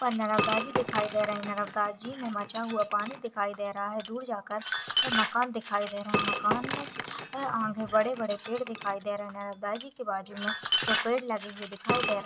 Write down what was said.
नर्मदा जी दिखाई दे रहे हैं नर्मदा जी में मचा हुआ पानी दिखाई दे रहा है दूर जाकर मकान दिखाई दे रहे हैं मकान में आगे बड़े बड़े पेड़ दिखाई दे रहे है नर्मदा जी के बाजु में दो पेड़ लगे दिखाई दे रहे हैं।